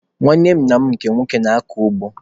Nwanne nna m nke nwoke na-akọ ugbo.